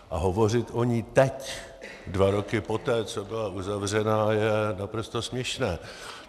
A hovořit o ní teď, dva roky poté, co byla uzavřena, je naprosto směšné.